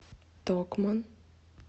токман